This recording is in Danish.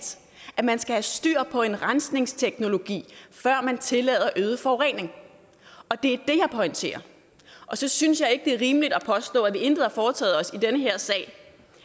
at man skal have styr på en rensningsteknologi før man tillader øget forurening og det er det jeg pointerer så synes jeg ikke det er rimeligt at påstå at vi intet har foretaget os i den her sag